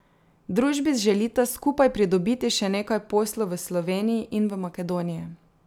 Družbi želita skupaj pridobiti še nekaj poslov v Sloveniji in v Makedoniji.